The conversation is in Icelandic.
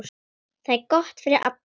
Það er gott fyrir alla.